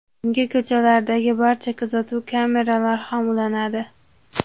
Unga ko‘chalardagi barcha kuzatuv kameralari ham ulanadi.